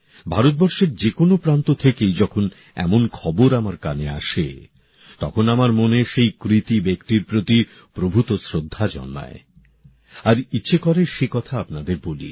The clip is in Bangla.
ভারতবর্ষের যেকোনো প্রান্ত থেকেই যখন এমন খবর আমার কানে আসে তখন আমার মনে সেই কৃতী ব্যক্তির প্রতি প্রভূত শ্রদ্ধা জন্মায় আর ইচ্ছে করে সে কথা আপনাদের বলি